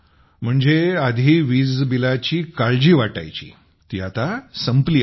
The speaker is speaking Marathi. म्हणजे आधी वीज बिलाची काळजी वाटायची ती आता संपली आहे